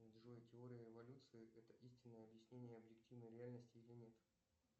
джой теория эволюции это истинное объяснение объективной реальности или нет